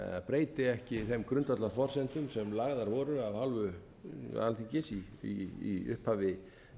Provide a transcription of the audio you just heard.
breyti ekki þeim grundvallarforsendum sem lagðar voru af hálfu alþingis í upphafi